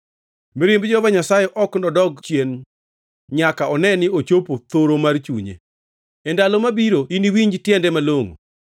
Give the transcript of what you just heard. Mirimb Jehova Nyasaye ok nodog chien nyaka one ni ochopo thoro mar chunye. E ndalo mabiro iniwinj tiende malongʼo.